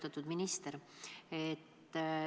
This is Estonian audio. Austatud minister!